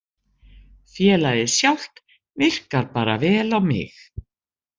Félagið sjálft virkar bara vel á mig.